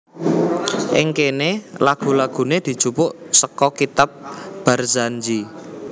Ing kene lagu lagune dijupuk seka kitab Barzanji